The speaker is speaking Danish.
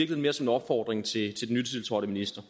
mere som en opfordring til den nytiltrådte minister